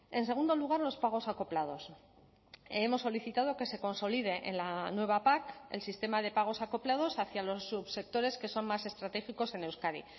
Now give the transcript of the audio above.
en segundo lugar los pagos acoplados hemos solicitado que se consolide en la nueva pac el sistema de pagos acoplados hacia los subsectores que son más estratégicos en euskadi